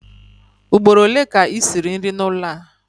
Ugboro ole ka i siri nri n'ụlọ a?